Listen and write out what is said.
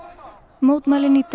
mótmælin í dag